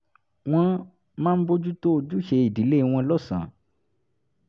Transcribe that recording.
wọn máa ń bójú tó ojúṣe ìdílé wọn lọ́sàn-án